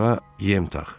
Qarmağa yem tax.